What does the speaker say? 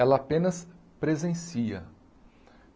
Ela apenas presencia.